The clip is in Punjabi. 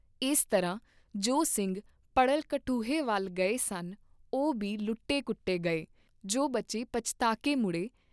ਇਸ ਤਰ੍ਹਾਂ ਜੋ ਸਿੰਘ ਪੜਲ ਕਠੂਹੇ ਵੱਲ ਗਏ ਸਨ, ਓਹ ਬੀ ਲੁੱਟੇ ਕੁਟੇ ਗਏ, ਜੋ ਬਚੇ ਪਛੁਤਾਕੇ ਮੁੜੇ।